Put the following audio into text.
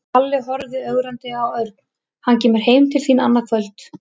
Halli horfði ögrandi á Örn. Hann kemur heim til þín annað kvöld